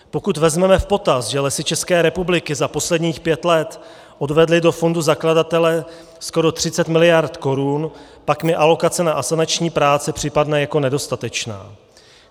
Pokud vezmeme v potaz, že Lesy České republiky za posledních pět let odvedly do fondu zakladatele skoro 30 mld. korun, pak mi alokace na asanační práce připadne jako nedostatečná.